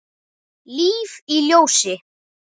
Líf í ljósi.